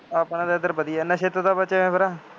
ਆਪਣਾ ਤਾਂ ਇੱਧਰ ਵਧੀਆ, ਨਸ਼ੇ ਤੋਂ ਤਾਂ ਬਚੇ ਹੋਏ ਹਾਂ ਫੇਰ